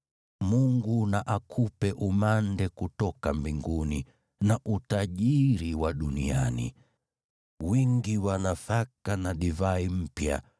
Mungu na akupe umande kutoka mbinguni na utajiri wa duniani: wingi wa nafaka na divai mpya.